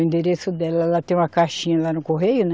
O endereço dela, ela tem uma caixinha lá no correio, né?